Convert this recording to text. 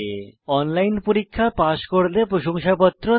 online পরীক্ষা pass করলে প্রশংসাপত্র দেয়